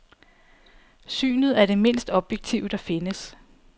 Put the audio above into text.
Synet er det mindst objektive, der findes.